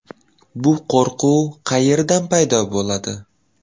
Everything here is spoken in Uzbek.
Bu qo‘rquv qayerdan paydo bo‘ladi?